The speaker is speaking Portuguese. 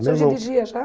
O senhor dirigia já?